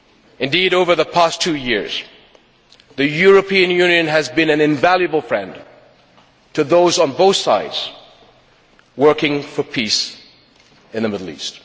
Indeed over the past two years the European Union has been an invaluable friend to those on both sides working for peace in the Middle East.